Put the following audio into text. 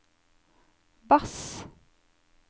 bass